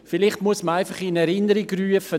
Vielleicht muss man einfach in Erinnerung rufen: